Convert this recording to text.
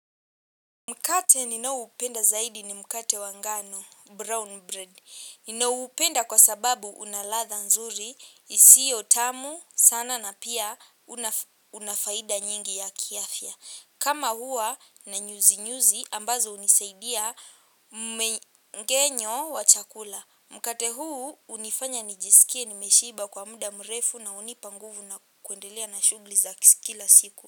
Mkate ninaoupenda zaidi ni mkate wa ngano, brown bread. Ninaupenda kwa sababu una ladha nzuri, isiyo tamu sana na pia una faida nyingi ya kiafya. Kama huwa na nyuzi nyuzi ambazo hunisaidia mmengenyo wa chakula. Mkate huu hunifanya nijisikie nimeshiba kwa muda mrefu na hunipa nguvu na kuendelea na shughuli za kila siku.